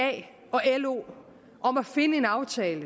da og lo om at finde en aftale